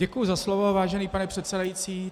Děkuji za slovo, vážený pane předsedající.